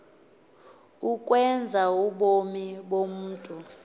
ukwenza ubomi bomntu